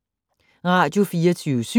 Radio24syv